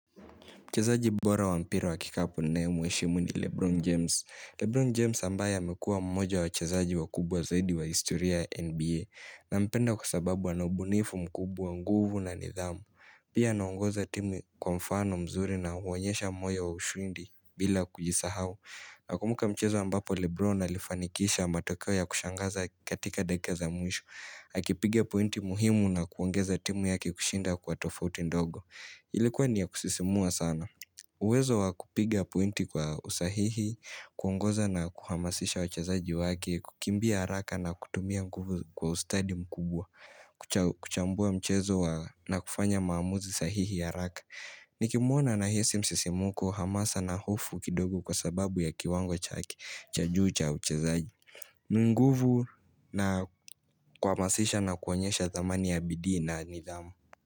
Mchezaji bora wa mpira wa kikapo ninaye muheishimu ni Lebron James. Lebron James ambaye amekuwa mmoja wachazaji wa kubwa zaidi wa historia NBA. Na mpenda kwa sababu anubunifu mkubwa nguvu na nidhamu. Pia anaongoza timu kwa mfano mzuri na uonyesha moyo wa ushindi bila kujisahau. Na kumbuka mchezo ambapo Lebron alifanikisha matokeo ya kushangaza katika dakika za mwisho. Akipiga pointi muhimu na kuongeza timu ya kikushinda kwa tofauti ndogo. Ilikuwa niya kusisimua sana. Uwezo wakupiga pointi kwa usahihi, kuongoza na kuhamasisha wachezaji wake, kukimbia haraka na kutumia kwa ustadi mkubwa, kuchambua mchezo na kufanya maamuzi sahihi haraka. Nikimuona na hisi msisimuku hamasana hofu kidogo kwa sababu ya kiwango chake, cha juu cha uchezaji. Ni nguvu na kuhamasisha na kuonyesha thamani ya bidii na nidhamu.